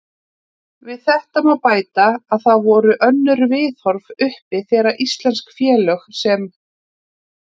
Við þetta má bæta að það voru önnur viðhorf uppi þegar íslensk félög sem